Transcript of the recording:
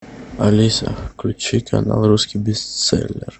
алиса включи канал русский бестселлер